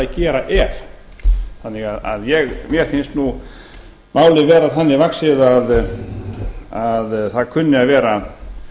gera ef þannig að mér finnst málið vera þannig vaxið að það kunni að vera